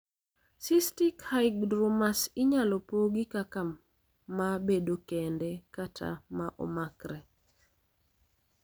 Cystic hygromas inyalo pogi kaka ma bedo kende kata ma omakre.